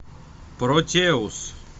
протеус